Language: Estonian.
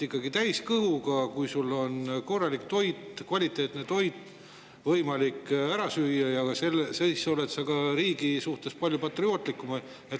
Ikkagi täis kõhuga, kui sul on korralik toit, kvaliteetne toit võimalik ära süüa, siis sa oled ka riigi suhtes palju patriootlikum.